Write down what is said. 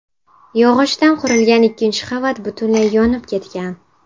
Yog‘ochdan qurilgan ikkinchi qavat butunlay yonib ketgan.